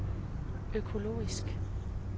økologisk